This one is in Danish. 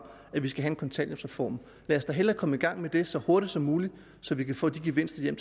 at vi skal have en kontanthjælpsreform lad os da hellere komme i gang med det så hurtigt som muligt så vi kan få de gevinster